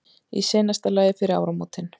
Í seinasta lagi fyrir áramótin.